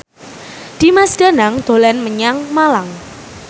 Dimas Danang dolan menyang Malang